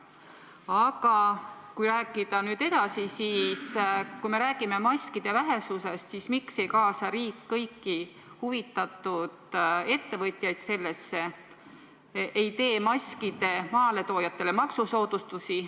Aga kui rääkida nüüd edasi näiteks maskide vähesusest, siis miks ei kaasa riik sellesse kõiki huvitatud ettevõtjaid ega tee maskide toojatele maksusoodustusi?